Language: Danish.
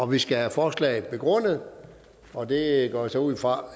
vi skal have forslaget begrundet og det går jeg så ud fra